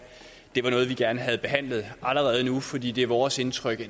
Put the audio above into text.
det var noget vi gerne have behandlet allerede nu fordi det er vores indtryk